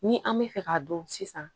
Ni an bɛ fɛ k'a dɔn sisan